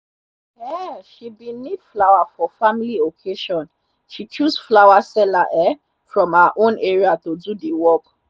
um she bin need flower for family occasion. she choose flower seller um from her own area to do the work.